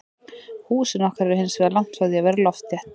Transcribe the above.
Húsin okkar eru hinsvegar langt frá því að vera loftþétt.